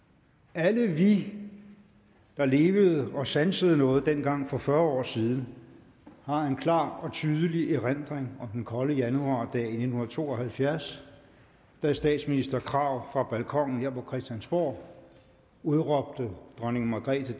alle vi der levede og sansede noget dengang for fyrre år siden har en klar og tydelig erindring om den kolde januardag i nitten to og halvfjerds da statsminister krag fra balkonen her på christiansborg udråbte dronning margrethe